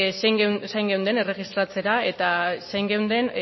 zain geunden erregistratzera eta zain geunden